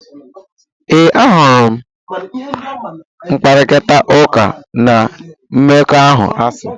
Ee, ahụrụ m ịkparịta ụka n' mmekọahụ asị.